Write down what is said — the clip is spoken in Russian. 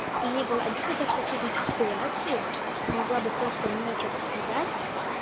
мне было обидно то что ты в эту ситуацию могла бы просто мне что-то сказать